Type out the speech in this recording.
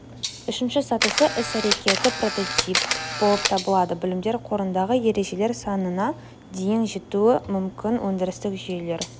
үшінші сатысы іс-әрекетті прототип болып табылады білімдер қорындағы ережелер санына дейін жетуі мүмкін өндірістік жүйелер